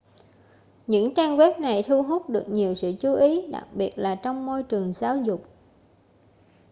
những trang web này thu hút được nhiều sự chú ý đặc biệt là trong môi trường giáo dục